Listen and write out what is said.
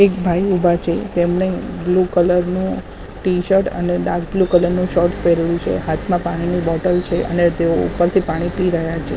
એક ભાઈ ઉભા છે તેમને બ્લુ કલર નું ટીશર્ટ અને ડાર્કબ્લુ કલર નું શોર્ટ્સ પેરેલું છે. હાથમાં પાણીની બોટલ છે અને તેઓ ઉપરથી પાણી પી રહ્યા છે.